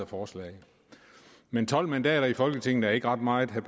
forslag men tolv mandater i folketinget er ikke ret meget vil